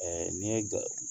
nin ye ga